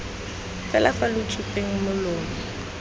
fela fa lo tsupeng molomo